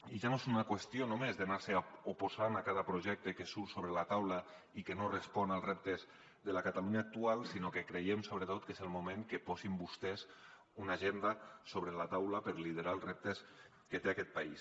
i ja no és una qüestió només d’anar se oposant a cada projecte que surt sobre la taula i que no respon als reptes de la catalunya actual sinó que creiem sobretot que és el moment que posin vostès una agenda sobre la taula per liderar els reptes que té aquest país